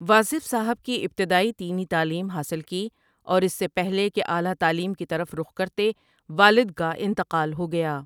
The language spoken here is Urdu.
واصف صاحب کی ابتدائی دینی تعلیم حاصل کی اور اس سے پہلے کہ اعلیٰ تعلیم کی طرف رخ کرتے والد کا انتقال ہو گیا ۔